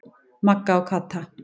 Magga og Kata.